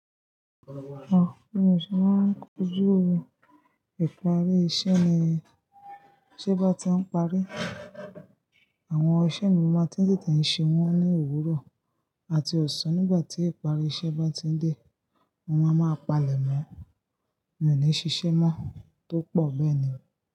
Ọ̀, mí ò ṣe máa kojú ìparí iṣẹ́ ni, ṣe bá tí ń parí, àwọn iṣẹ́ mi máa tí tètè ṣe wọ́n ní òwúrọ̀ àti ọ̀sán nígbà tí ìparí iṣẹ́ bá ti ń dé, mo máa ma palẹ̀ mọ́, mi ò ní ṣiṣẹ́ mọ́ tó pọ̀ bẹ́ẹ̀ni.